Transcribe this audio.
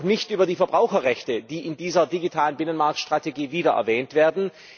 Ich spreche auch nicht über die Verbraucherrechte, die in dieser digitalen Binnenmarktstrategie wieder erwähnt werden.